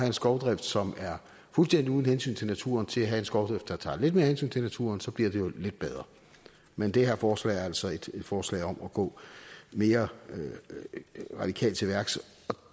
en skovdrift som er fuldstændig uden hensyn til naturen til at have en skovdrift som tager lidt mere hensyn til naturen så bliver det lidt bedre men det her forslag er altså et forslag om at gå mere radikalt til værks